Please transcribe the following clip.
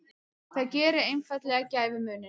Það gerir einfaldlega gæfumuninn.